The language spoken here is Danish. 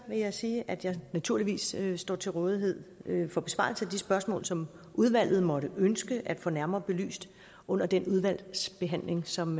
jeg sige at jeg naturligvis står til rådighed for besvarelse af de spørgsmål som udvalget måtte ønske at få nærmere belyst under den udvalgsbehandling som